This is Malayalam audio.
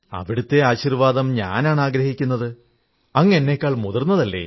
അവിടത്തെ ആശീർവ്വാദം ഞാനാണാഗ്രഹിക്കുന്നത് അങ്ങ് എന്നെക്കാൾ മുതിർന്നതല്ലേ